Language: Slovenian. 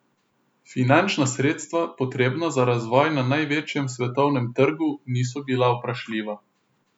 Finančna sredstva, potrebna za razvoj na največjem svetovnem trgu, niso bila vprašljiva.